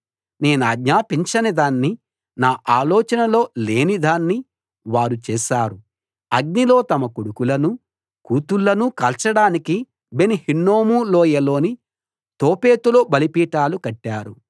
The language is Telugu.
నేనాజ్ఞాపించని దాన్ని నా ఆలోచనలో లేని దాన్ని వారు చేశారు అగ్నిలో తమ కొడుకులనూ కూతుళ్ళనూ కాల్చడానికి బెన్‌ హిన్నోము లోయలోని తోఫెతులో బలిపీఠాలు కట్టారు